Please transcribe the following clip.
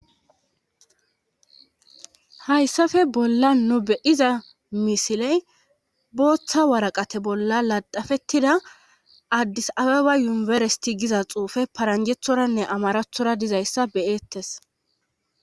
hayssafe bolla nu beyiza misiley booththa waraqate bolla ladafettida addis ababa yumiberesiti giza xuufe paranjethoranne amarathora dizayssa beyeettes